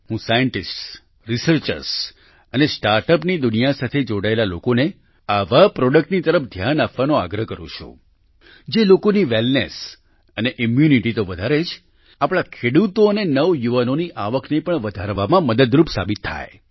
હું scientists researchers અને Startupની દુનિયા સાથે જોડાયેલા લોકોને આવા પ્રોડક્ટની તરફ ધ્યાન આપવાનો આગ્રહ કરું છું જે લોકોની વેલનેસ અને ઈમ્યૂનિટી તો વધારે જ આપણા ખેડૂતો અને નવયુવાનોની આવકને પણ વધારવામાં મદદરૂપ સાબિત થાય